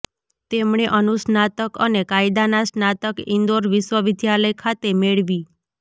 તેમણે અનુસ્નાતક અને કાયદાના સ્નાતક ઇન્દોર વિશ્વવિદ્યાલય ખાતે મેળવી